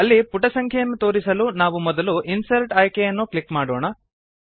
ಅಲ್ಲಿ ಪುಟ ಸಂಖ್ಯೆಯನ್ನು ತೋರಿಸಲು ನಾವು ಮೊದಲು ಇನ್ಸರ್ಟ್ ಆಯ್ಕೆಯನ್ನು ಕ್ಲಿಕ್ ಮಾಡೋಣ